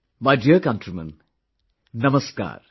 My dear countrymen, Namaskar